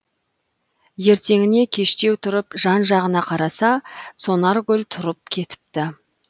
ертеңіне кештеу тұрып жан жағына қараса сонаргүл тұрып кетіпті